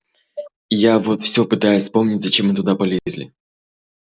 я вот все пытаюсь вспомнить зачем мы туда полезли